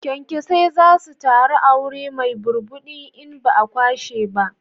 Kyankyasai za su taru a wuri mai burbuɗi in ba a kwashe ba